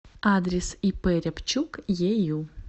адрес ип рябчук ею